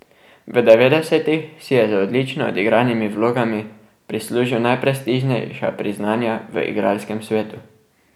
V devetdesetih si je z odlično odigranimi vlogami prislužil najprestižnejša priznanja v igralskem svetu.